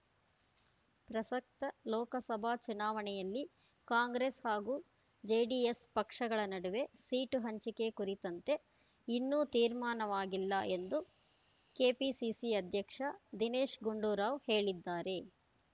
ಪ್ರಸಕ್ತ ಲೋಕಸಭಾ ಚುನಾವಣೆಯಲ್ಲಿ ಕಾಂಗ್ರೆಸ್ ಹಾಗೂ ಜೆಡಿಎಸ್ ಪಕ್ಷಗಳ ನಡುವೆ ಸೀಟು ಹಂಚಿಕೆ ಕುರಿತಂತೆ ಇನ್ನೂ ತೀರ್ಮಾನವಾಗಿಲ್ಲ ಎಂದು ಕೆಪಿಸಿಸಿ ಅಧ್ಯಕ್ಷ ದಿನೇಶ್ ಗುಂಡೂರಾವ್ ಹೇಳಿದ್ದಾರೆ